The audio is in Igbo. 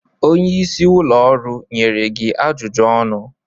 Onye isi ụlọ ọrụ nyere gị ajụjụ ọnụ?